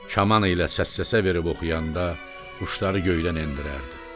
Kaman ilə səs-səsə verib oxuyanda quşları göydən endirərdi.